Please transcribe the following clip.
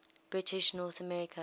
british north america